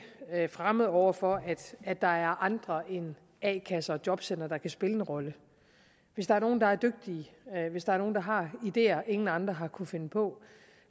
fremmed over for at andre end a kasser og jobcentre kan spille en rolle hvis der er nogen der er dygtige hvis der er nogen der har ideer ingen andre har kunnet finde på